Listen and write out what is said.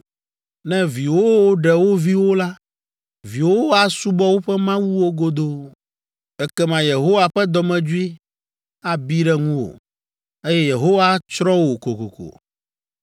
Ne viwòwo ɖe wo viwo la, viwòwo asubɔ woƒe mawuwo godoo. Ekema Yehowa ƒe dɔmedzoe abi ɖe ŋuwò, eye Yehowa atsrɔ̃ wò kokoko.